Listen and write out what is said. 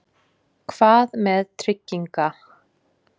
Hvað með trygginga